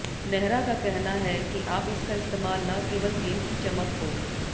नेहरा का कहना है कि आप इसका इस्तेमाल न केवल गेंद की चमक को